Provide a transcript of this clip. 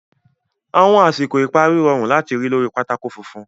Àwọn àsìkò ìparí rọrùn láti rí lórí pátákó funfun.